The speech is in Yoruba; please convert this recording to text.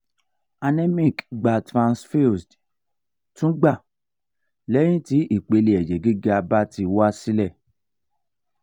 anemic gba transfused tun gba lehin ti ipele eje giga ba ti wale